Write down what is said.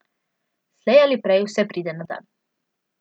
Slej ali prej vse pride na dan.